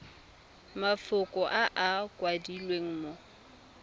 mafoko a a kwadilweng mo